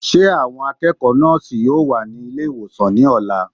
Ṣé àwọn akẹ́kọ̀ọ́ nọ́ọ̀sì yóò wà ní ilé ìwòsàn ní ọ̀la?